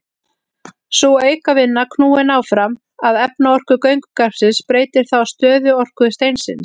Sú aukavinna, knúin áfram af efnaorku göngugarpsins, breytir þá stöðuorku steinsins.